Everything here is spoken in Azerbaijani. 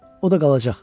O da qalacaq.